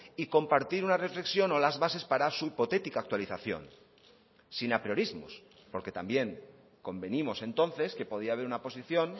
y compartir una reflexión o las bases para su hipotética actualización sin apriorismos porque también convenimos entonces que podía haber una posición